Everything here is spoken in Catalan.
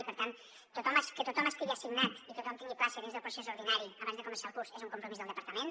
i per tant que tothom estigui assignat i que tothom tingui plaça dins del procés ordinari abans de començar el curs és un compromís del departament